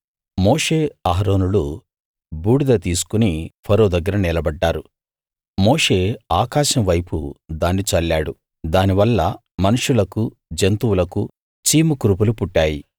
మోషే అహరోనులు బూడిద తీసుకుని ఫరో దగ్గర నిలబడ్డారు మోషే ఆకాశం వైపు దాన్ని చల్లాడు దానివల్ల మనుష్యులకు జంతువులకు చీము కురుపులు పుట్టాయి